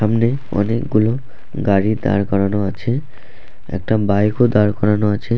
সামনে অনেকগুলো গাড়ি দাঁড় করানো আছে একটা বাইক ও দাঁড় করানো আছে- এ |